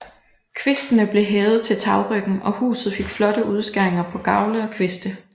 Kvistene blev hævet til tagryggen og huset fik flotte udskæringer på gavle og kviste